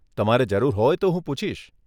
તમારે જરૂર હોય તો હું પૂછીશ.